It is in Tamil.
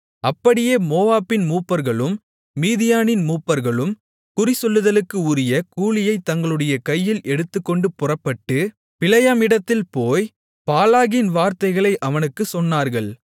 அப்படியே மோவாபின் மூப்பர்களும் மீதியானின் மூப்பர்களும் குறிசொல்லுதலுக்கு உரிய கூலியைத் தங்களுடைய கையில் எடுத்துக்கொண்டு புறப்பட்டு பிலேயாமிடத்தில் போய் பாலாகின் வார்த்தைகளை அவனுக்குச் சொன்னார்கள்